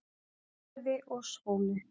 Lýðræði og skóli